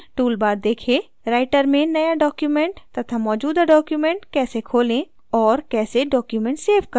writer में नया document तथा मौजूदा document कैसे खोलें और कैसे document सेव करें